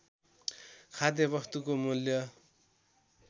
खाद्य वस्तुको मूल्य